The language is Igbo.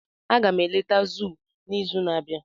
Aga m eleta zoo n'izu na-abịa.